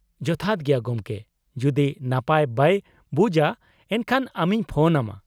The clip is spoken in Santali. -ᱡᱚᱛᱷᱟᱛ ᱜᱮᱭᱟ ᱜᱚᱢᱠᱮ, ᱡᱩᱫᱤ ᱱᱟᱯᱟᱭ ᱵᱟᱭ ᱵᱩᱡᱼᱟ ᱮᱱᱠᱷᱟᱱ ᱟᱢᱤᱧ ᱯᱷᱚᱱ ᱟᱢᱟ ᱾